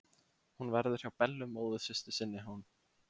Hún verður hjá Bellu móðursystur sinni, hún.